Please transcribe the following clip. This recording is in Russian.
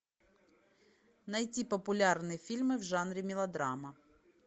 найти популярные фильмы в жанре мелодрама